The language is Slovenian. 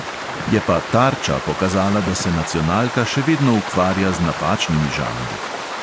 Je pa tarča pokazala, da se nacionalka še vedno ukvarja z napačnimi žanri.